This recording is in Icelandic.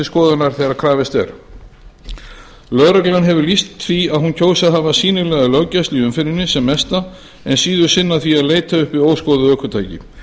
skoðunar þegar krafist er lögreglan hefur lýst því að hún kjósi að hafa sýnilega löggæslu í umferðinni sem mesta en síður sinna því að leita uppi óskoðuð ökutæki